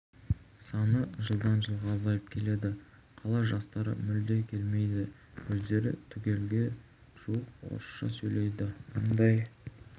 саны жылдан жылға азайып келеді қала жастары мүлде келмейді өздері түгелге жуық орысша сөйлейді мыңдай